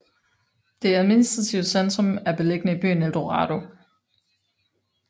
Det administrative centrum er beliggende i byen Eldorado